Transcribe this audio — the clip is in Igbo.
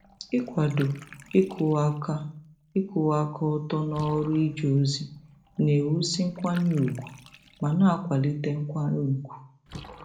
Ịkwado ịkwụwa aka ịkwụwa aka ọtọ n'ọrụ ije ozi na-ewusi nkwanye ùgwù ma na-akwalite nkwanye ùgwù.